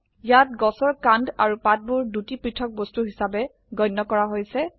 ইয়াত গছৰ কান্ড আৰু পাতবোৰ দুটি পৃথক বস্তু হিসাবে গণ্য কৰা হৈছে